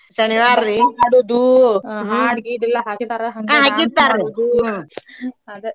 ಹಾಡ್ ಗೀಡ್ ಎಲ್ಲಾ ಹಾಕಿರ್ತಾರ dance ಮಾಡೋದು ಅದ.